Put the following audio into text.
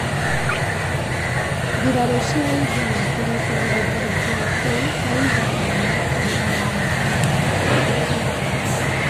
Mbirarū cia India nĩ ĩkoretwo ĩgĩtharĩkĩra kũu kwa ihinda rĩa makĩria ma mĩaka mĩrongo ĩtatũ.